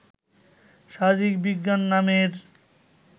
শারীরিক বিজ্ঞান নামের